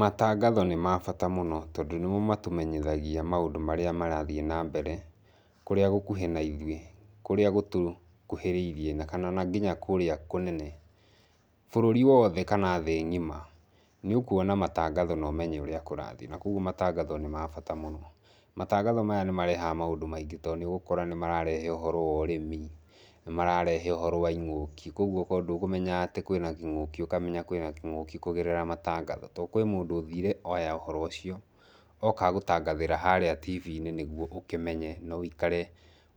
Matangatho nĩ mabata mũno tondũ nĩmo matũmenyithagia maũndũ marĩa marathiĩ na mbere, kũrĩa gũkuhĩna ithuĩ, kũrĩa gũtũkuhĩrĩirie na kana nginya kũrĩa kũnene, bũrũri wothe kana thĩ ng'ima nĩũkuona matangazo nomenye ũrĩa kũrathiĩ, na koguo matangatho nĩ mabata mũno. Matangatho maya nĩ marehaga maũndũ maingĩ tondũ nĩ ũgũkora nĩ mararehe ũhoro wa ũrĩmi, nĩ mararehe ũhoro wa ing'ũki koguo ko ndũkũmenyaga atĩ kwĩna kĩng'ũki ũkamenya kwĩna kĩng'ũki kũgerera matangatho, tondũ kwĩ mũndũ ũthire oya ũhoro ũcio, oka gũtangathĩra harĩa tibi-inĩ nĩguo ũkĩmenye na wũikare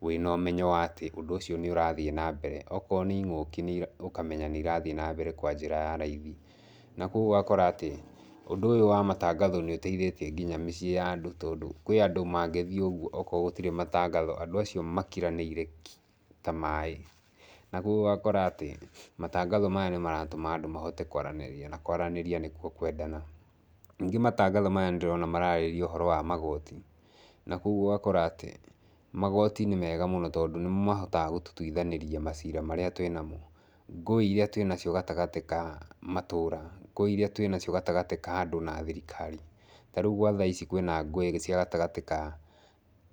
wĩna ũmenyo wa atĩ ũndũ ũcio nĩ ũrathiĩ na mbere. Okorwo nĩ ing'ũki ũkamenya nĩ irathiĩ nambere kwa njĩra ya raithi, na koguo ũgakora atĩ, ũndũ ũyũ wa matangatho nĩ ũteithĩtie nginya mĩciĩ ya andũ, tondũ kwĩ andũ mangĩthiĩ ũguo okorwo gũtirĩ matangatho andũ acio makiranĩire ki ta maĩ, na koguo ũgakora atĩ matangatho maya nĩ maratũma andũ mahote kwaranĩria na kwaranĩria nĩkuo kwendana. Ningĩ matangatho maya nĩ ndĩrona mararĩrĩria ũhoro wa magoti, na koguo ũgakora atĩ, magoti nĩ mega mũno tondũ nĩmo mahotaga gũtũtuithanĩria macira marĩa twĩnamo, ngũĩ iria twĩnacio gatagatĩ ka matũũra, ngũĩ iria twĩnacio gatagatĩ ka andũ na thirikari, ta rĩu gwa thaa ici kwĩna ngũĩ cia gatagatĩ ka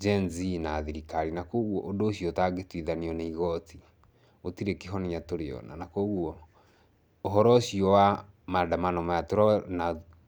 Gen Z na thirikari, na koguo ũndũ ũcio ũtangĩtuithanio nĩ igoti, gũtirĩ kĩhonia tũrĩona na koguo ũhoro ũcio wa maandamano maya tũrona.